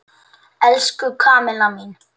Elsku Kamilla mín!